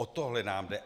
O tohle nám jde.